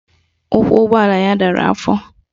Ụkwụ ụgbọala ya dara afọ